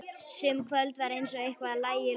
Sum kvöld var eins og eitthvað lægi í loftinu.